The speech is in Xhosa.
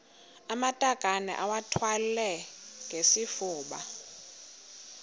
amatakane iwathwale ngesifuba